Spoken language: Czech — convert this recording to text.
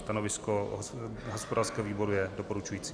Stanovisko hospodářského výboru je doporučující.